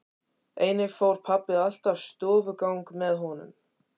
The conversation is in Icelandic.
Einnig fór pabbi alltaf stofugang með honum.